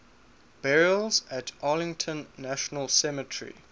burials at arlington national cemetery